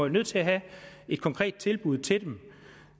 nødt til at have et konkret tilbud til dem